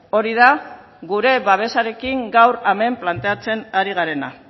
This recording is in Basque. hori da gure babesarekin gaur hemen planteatzen ari garena